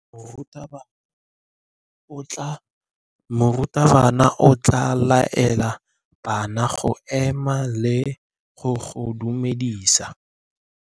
Morutabana o tla laela bana go ema le go go dumedisa.